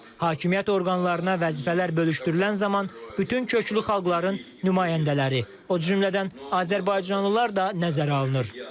Hakimiyyət orqanlarına vəzifələr bölüşdürülən zaman bütün köklü xalqların nümayəndələri, o cümlədən azərbaycanlılar da nəzərə alınır.